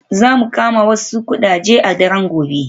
Za mu kama wasu ƙudaje a daren gobe.